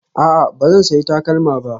A'a, ba zan sayi takalma ba